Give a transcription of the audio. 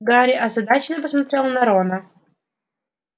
гарри озадаченно посмотрел на рона